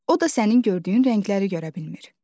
O da sənin gördüyün rəngləri görə bilmir.